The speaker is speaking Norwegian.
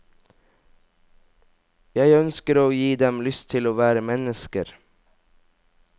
Jeg ønsker å gi dem lyst til å være mennesker.